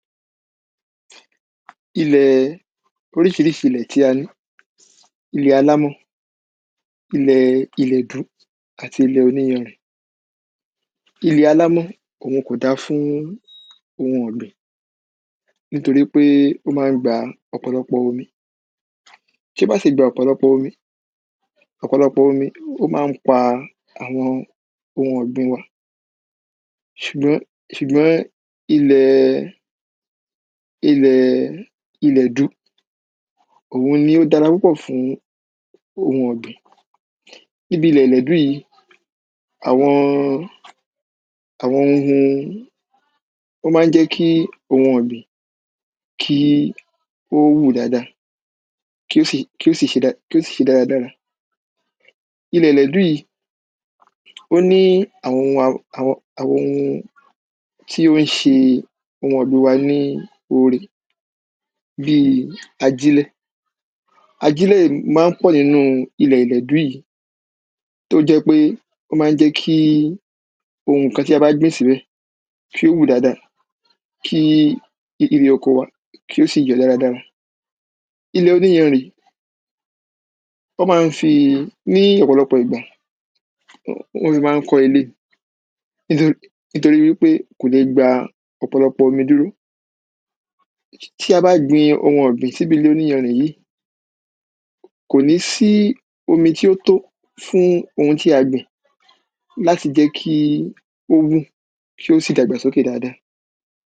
Ilẹ̀ oríṣiríṣi ilẹ̀ tí a ní ilẹ̀ alámọ̀ ilẹ̀ ilẹ̀dú àti ilẹ̀ oníyanrìn. Ilẹ̀ alámọ̀ òhun kò dá fún ilẹ̀ ọ̀gbìn nítorípé ó má ń gba ọ̀pọ̀lọpọ omi tí ó bá sì gba ọ̀pọ̀lọpọ omi ọ̀pọ̀lọpọ omi ó má ń pa àwọn ohun ọ̀gbìn wa ṣùgbọ́n ṣùgbọ́n ilẹ̀ ilẹ̀ ilẹ̀dú òhun ní dára púpọ̀ fún ohun ọ̀gbìn. Níbi ilẹ̀ ilẹ̀dú yìí àwọn àwọn ohun ó má ń jẹ́ kí ohun ọ̀gbìn kí ó hù dáada kí ó sì kí ó sì ṣe dáada. Ilẹ̀ ilẹ̀dú yìí ó ní àwọn àwọn ohun tí ó ṣe ohun ọ̀gbìn wa ní ore bí ajílẹ̀ ajílẹ̀ má ń pọ̀ nínú ilẹ̀ ilẹ̀dú yìí tó jẹ́ pé ó má ń jẹ́ kí ohun nǹkan tí a bá ń gbìn sílẹ̀ kí ó hù dáada kí ibi ilẹ̀ oko kí ó sì jẹ́ dáradára. Ilẹ̀ oníyanrìn ó má ń fi ní ọ̀pọ̀lọpọ̀ ìgbà wọ́n fi má ń kọ́ ilé nítorí nítorípé kò le gba ọ̀pọ̀lọpọ omi dúró. Tí a bá gbin ohun ọ̀gbìn síbi ilẹ̀ oníyanrìn yìí kò ní sí omi tí ó tó fún ohun tí a gbìn láti jẹ́ kí ó hù kí ó sì dàgbà sókè dáada.